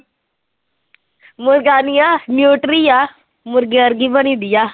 ਮੁਰਗਾ ਨੀ ਆਂ ਨਿਊਟਰੀ ਆ, ਮੁਰਗੇ ਵਰਗੀ ਬਣੀ ਦੀ ਆ।